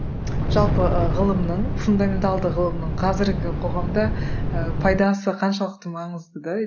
жалпы ы ғылымның фундаменталды ғылымның қазіргі қоғамда ы пайдасы қаншалықты маңызды